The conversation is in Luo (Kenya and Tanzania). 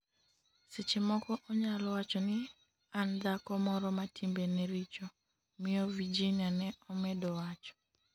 seche moko onyalo wacho ni an dhako moro ma timbe ne richo,'miyo Virginia ne omedo wacho